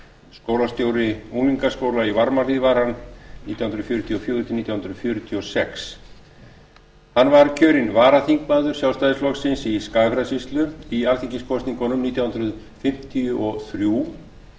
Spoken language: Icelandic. skólastjóri unglingaskóla í varmahlíð var hann nítján hundruð fjörutíu og fjögur til nítján hundruð fjörutíu og sex hann var kjörinn varaþingmaður sjálfstæðisflokksins í skagafjarðarsýslu í alþingiskosningunum nítján hundruð fimmtíu og þrjú